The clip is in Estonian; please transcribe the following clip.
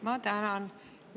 Ma tänan!